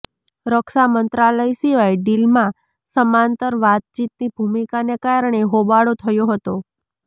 રક્ષા મંત્રાલય સિવાય ડીલમાં સમાંતર વાતચીતની ભૂમિકાને કારણે હોબાળો થયો હતો